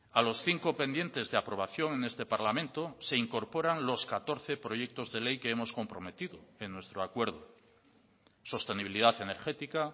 a los cinco pendientes de aprobación en este parlamento se incorporan los catorce proyectos de ley que hemos comprometido en nuestro acuerdo sostenibilidad energética